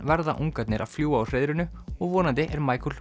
verða ungarnir að fljúga úr hreiðrinu og vonandi er